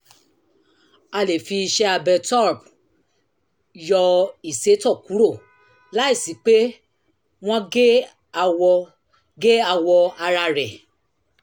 a lè fi iṣẹ́-abẹ turp yọ ìsétọ̀ kúrò láìsí pé wọ́n gé awọ gé awọ ara rẹ̀